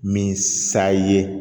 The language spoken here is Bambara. Min sa ye